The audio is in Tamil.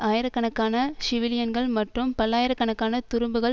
ஆயிரக்கணக்கான சிவிலியன்கள் மற்றும் பல்லாயிர கணக்கான துரும்புகள்